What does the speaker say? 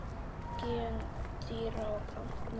Gen dýra og plantna